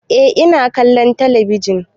Eh ina kallon kalli ka ji.